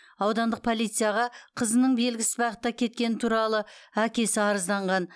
аудандық полицияға қызының белгісіз бағытта кеткені туралы әкесі арызданған